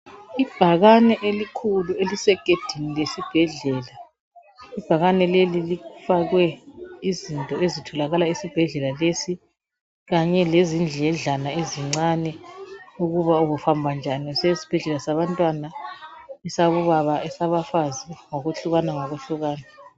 Ibhakane elikhulu elisegedini lesibhedlela. Ibhakane leli lifakwe izinto ezitholakala esibhedlela lesi kanye lezindledlana ezincane ukuba uhamba njani usiya esibhedlela sabantwana, esabobaba, esabafazi ngokuhlukana ngokuhlukana.